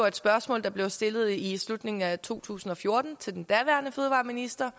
et spørgsmål der blev stillet i slutningen af to tusind og fjorten til den daværende fødevareminister